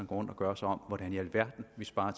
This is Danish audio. rundt og gør sig om hvordan i alverden vi sparer